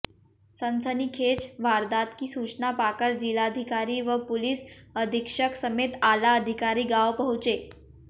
सनसनीखेज वारदात की सूचना पाकर जिलाधिकारी व पुलिस अधीक्षक समेत आला अधिकारी गांव पहुंचे